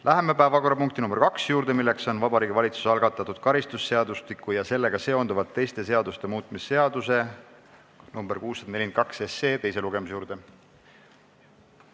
Läheme päevakorrapunkti nr 2 juurde, milleks on Vabariigi Valitsuse algatatud karistusseadustiku ja sellega seonduvalt teiste seaduste muutmise seaduse eelnõu 642 teine lugemine.